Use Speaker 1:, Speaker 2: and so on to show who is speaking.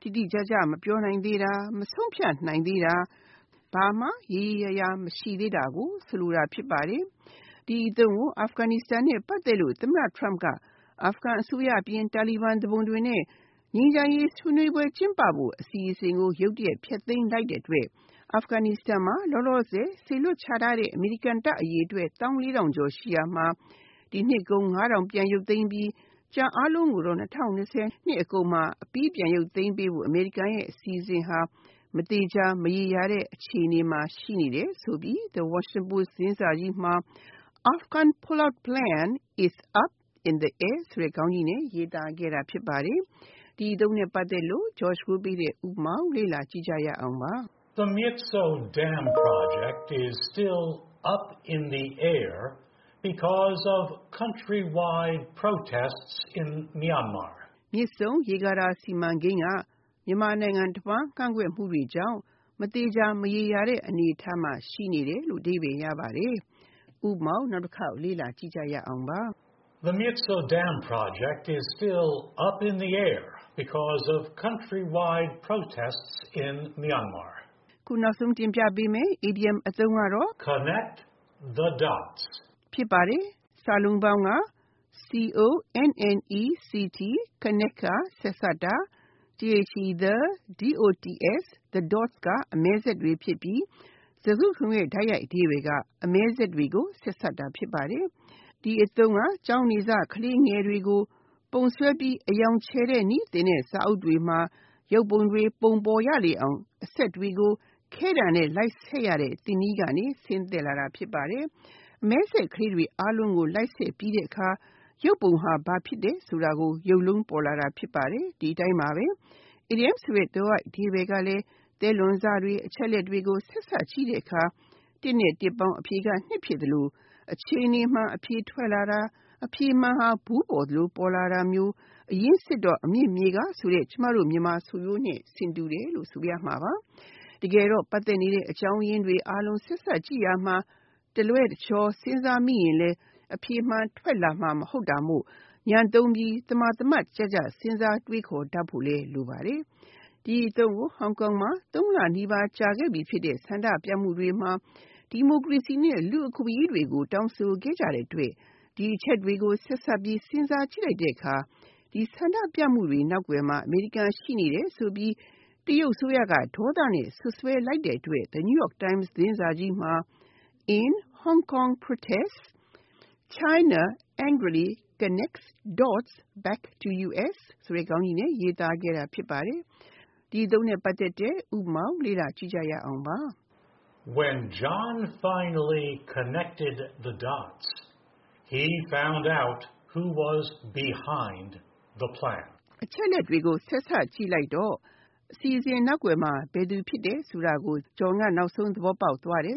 Speaker 1: ၊ တိတိကျကျ မပြောနိုင်သေးတာ၊ မဆုံးဖြတ်ရသေးတာ၊ ဘာမှရေရေရာရာ မရှိသေးတာကို ဆိုလိုတာ ဖြစ်ပါတယ်။ ဒီအသုံးကို Aghanistan နဲ့ပတ်သက်လို့ သမတ Trump က Aghan အစိုးရ အပြင် Taleban သူပုန်တွေနဲ့ ငြိမ်းချမ်းရေးဆွေးနွေးပွဲ ကျင်းပဖို့ အစီအစဉ်ကို ရုတ်တရက် ဖျက်သိမ်းလိုက်တဲ့အတွက် Aghanistan မှာ လောလောဆယ် စေလွှတ်ချထားတဲ့ အမေရိကန်စစ်သားအရေအတွက် ၁၄၀၀၀ ကျော်ရှိရာမှာ ၊ ဒီနှစ်အကုန် ၅၀၀၀ ကျော် ရုပ်သိမ်းပြီး ကျန်အားလုံးကိုတော့၂၀၂၀ နှစ်ကုန်မှာအပြီး ပြန်ရုပ်သိမ်းပေးဖို့ အမေရိကန်ရဲ့အစီအစဉ်ဟာ မသေချာမရေရာတဲ့ အခြေအနေမှာ ရှိနေတယ်ဆိုပြီး The Washington Post သတင်းစာကြီးမှာ “ Afghan pullout plan is up in the air” ဆိုတဲ့ ခေါင်းကြီးနဲ့ ရေးသားခဲ့တာဖြစ်ပါတယ်။ The
Speaker 2: Myitsone dam project is still “up in the air” because of countrywide protests in Myanmar.
Speaker 1: မြစ်ဆုံရေကာတာ စီမံကိန်းက မြန်မာနိုင်ငံတဝှမ်း ကန့်ကွက်မှုတွေကြောင့် မသေချာမရေရာတဲ့ အနေအထားမှာ ရှိနေတယ်။ (
Speaker 2: ၃) Connect the Dots
Speaker 1: Connect (ဆက်စပ်တာ)၊ the dots (အမဲစက်တွေ) ဖြစ်ပြီး၊ စကားစုတခုလုံးရဲ့ တိုက်ရိုက်အဓိပ္ပါယ် အမဲစက်တွေကို ဆက်စပ်တာ ဖြစ်ပါတယ်။ ဒီအသုံးက ကျောင်းနေစ ခလေးငယ်တွေကို ပုံဆွဲပြီး အရောင်ချယ်နည်းသင်တဲ့ စာအုပ်တွေမှာ ရုပ်ပုံတွေပုံ ပေါ်ရလေအောင် အစက်တွေကိုခဲတံနဲ့လိုက်ဆက်ရတဲ့ သင်နည်းကနေ ဆင်းသက်လာတာ ဖြစ်ပါတယ်။ အမဲစက်ကလေးတွေအားလုံးကို လိုက်ဆက်ပြီးတဲ့အခါ ရုပ်ပုံဟာ ဘာဖြစ်တယ်ဆိုတာ ရုပ်လုံးပေါ်လာတာ ဖြစ်ပါတယ်။ ဒီအတိုင်းပါပဲ အီဒီယံအဓိပ္ပါယ်က သဲလွန်စတွေ၊ အချက်အလက်တွေကို ဆက်စပ်ကြည့်တဲ့အခါ တစ်နဲ့တစ်ပေါင်း အဖြေက နှစ်ဖြစ်သလို၊ အခြေအနေမှန် အဖြေထွက်လာတာ၊ အဖြေမှန်ဟာ ဗူးပေါ်သလို ပေါ်လာတာမျိုး အရင်းစစ်တော့ အမြစ်မြေကဆိုတဲ့ ကျမတို့မြန်မာဆိုရိုးနဲ့ဆင်တယ်လို့ဆိုရမှာပါ။ တကယ်တော့ ပတ်သက်နေတဲ့ အကြောင်းအရင်းတွေကို ဆက်စပ်ကြည့်ရာမှာ တလွဲတချော် စဉ်းစားမိရင်လဲ၊ အဖြေမှန်က ထွက်လာမှာမဟုတ်တာမို့ ဉာဏ်သုံးပြီး သမာသမတ်ကျကျ စဉ်းစားတွေးခေါ်တတ်ဖို့လဲ လိုပါတယ်။ ဒီအသုံးကို ဟောင်ကောင်မှာ သုံးလနီးပါးကြာခဲ့ပြီဖြစ်တဲ့ ဆန္ဒပြမှုတွေမှာ တခြားတောင်းဆိုချက်တွေအပြင် ဒီမိုကရေစီနဲ့ လူ့အခွင့်အရေးတွေကိုပါ တောင်းဆိုခဲ့ကြတဲ့အတွက် ဒီအချက်တွေကို ဆက်စပ်ပြီး စဉ်းစားကြည့်လိုက်တဲ့အခါ ဒီဆန္ဒပြမှုတွေ နောက်ကွယ်မှာ အမေရိကန်ရှိနေတယ်ဆိုပြီး တရုတ်အစိုးရက ဒေါသနဲ့စွပ်စွဲလိုက်တဲ့အတွက် The New York Times သတင်းစာကြီးမှာ “In Hong Kong Protests, China Angrily Connects Dots Back to U.S.” ဆိုတဲ့ ခေါင်းကြီးနဲ့ရေးသားခဲ့တာ ဖြစ်ပါတယ်။ ဥပမာ
Speaker 2: When John finally “connected the dots,” he found out who was behind the plan.
Speaker 1: အချက်အလက်ကိုဆက်စပ်ကြည့်လိုက်တော့အစီအစဉ်နောက်ကွယ်မှာဘယ်သူ့ဖြစ်တယ်ဆိုတာကို John က နောက်ဆုံးသဘောပေါက်သွားတယ်